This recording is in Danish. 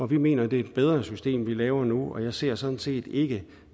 vi mener at det er et bedre system vi laver nu og jeg ser sådan set ikke